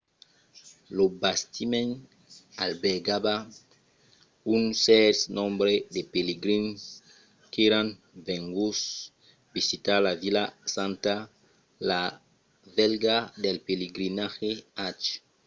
lo bastiment albergava un cèrt nombre de pelegrins qu'èran venguts visitar la vila santa la velha del pelegrinatge hajj